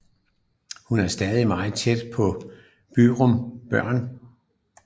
Hun er stadig meget tæt på Byrum børn